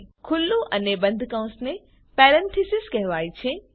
ખુલ્લું અને બંધ કૌંસને પેરેન્થીસીસ કહેવાય છે